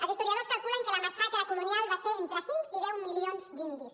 els historiadors calculen que la massacre colonial va ser d’entre cinc i deu milions d’indis